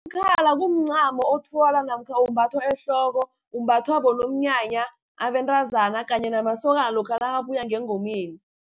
Umkhala kumncamo othwalwa namkha umbathwa ehloko, umbathwa bonomnyanya, abentazana kanye namasokana lokha nakabuya ngengomeni.